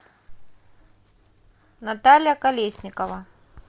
наталья колесникова